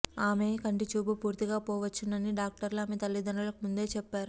ఆమె కంటిచూపు పూర్తిగా పోవచ్చునని డాక్టర్లు ఆమె తల్లిదండ్రులకు ముందే చెప్పరు